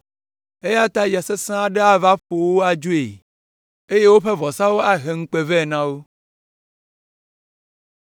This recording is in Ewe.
eya ta ya sesẽ aɖe ava ƒo wo adzoe, eye woƒe vɔsawo ahe ŋukpe vɛ na wo.